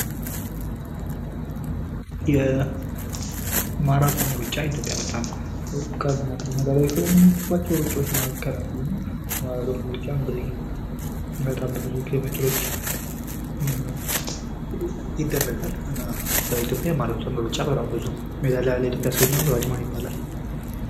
የማራቶን ሩጫ እየተደረገ ነው ፤ ኢትዮጵያ ከምትታወቅባቸው ሩጫዎች መካከል አንዱ ነው የማራቶን ሩጫ እንግዲህ በጣም በብዙ ኪሎ ሜትሮች ይደረጋል እና በኢትዮጵያ በማራቶን ሩጫ በጣም ብዙ ሜዳሊያ ለኢትዮጵያ ያስገኘው ሯጭ ማን ይባላል?